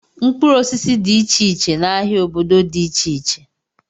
Mkpụrụ osisi dị iche iche na ahịa obodo dị iche iche.